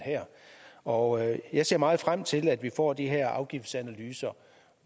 og jeg jeg ser meget frem til at vi får de her afgiftsanalyser